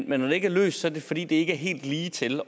men når det ikke er løst er det fordi det ikke er helt ligetil